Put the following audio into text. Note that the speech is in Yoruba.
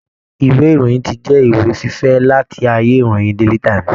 Ìwé Ìròyìn ti jẹ ìwé fífẹ̀ láti ayé ìwé ìròyìn Daily times